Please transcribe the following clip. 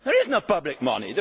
in it. There is no public